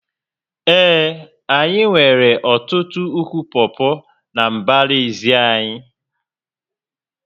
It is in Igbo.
Ee, anyị nwere ọtụtụ ụkwụ pọpọ na mbara ezi anyị